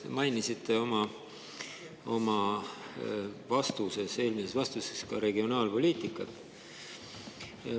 Te mainisite oma eelmises vastuses ka regionaalpoliitikat.